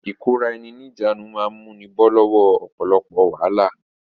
Ìkóra-ẹni-ní-ìjánu máa múni bọ́ lọ́wọ́ ọ̀pọ̀lọpọ̀ wàhálà.